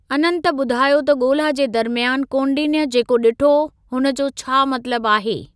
अनंत ॿुधायो त ॻोल्‍हा जे दरमयान कौंडिन्‍य जेको ॾिठो हुनजो छा मतलबु आहे।